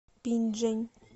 пинчжэнь